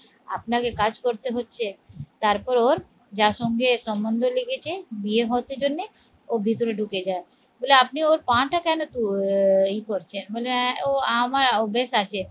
আপনাকে কাজ করতে হচ্ছে তারপর ওর যার সঙ্গে সম্বন্ধ লেগেছে বিয়ে হচ্ছে জন্যে ও ভিতরে ঢুকে যায় বলে আপনি ওর পা টা কেন আহ ইয়ে করছেন? বলল ও আমার অভ্যেস আছে